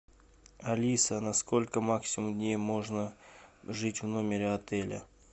алиса на сколько максимум дней можно жить в номере отеля